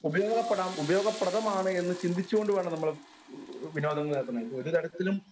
Speaker 1 ഉപയോഗപ്പെടാം ഉപയോഗപ്രദമാണ് എന്ന് ചിന്തിച്ചു കൊണ്ട് വേണം നമ്മൾ വിനോദങ്ങളിൽ ഏർപ്പെടുന്നത്. ഒരുതരത്തിലും